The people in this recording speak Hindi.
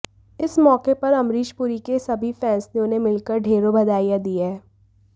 इस मौके पर अमरीष पुरी के सभी फैन्स ने उन्हें मिलकर ढ़ेरों बधाईंया दी हैं